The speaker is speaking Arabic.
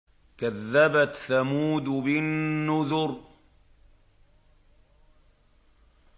كَذَّبَتْ ثَمُودُ بِالنُّذُرِ